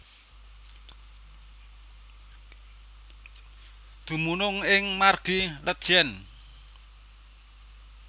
Dumunung ing Margi Letjen